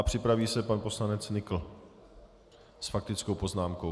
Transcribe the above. A připraví se pan poslanec Nykl s faktickou poznámkou.